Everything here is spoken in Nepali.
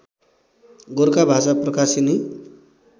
गोरखा भाषा प्रकाशिनी